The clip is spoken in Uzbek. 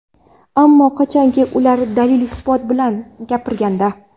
Ammo qachonki, ular dalil-isbot bilan gapirganda.